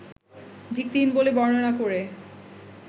ভিত্তিহীন বলে বর্ণনা করে